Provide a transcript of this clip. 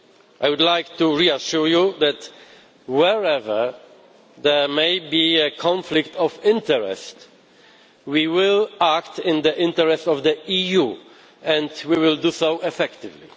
I would like to reassure you that, wherever there may be a conflict of interest, we will act in the interests of the EU and we will do so effectively.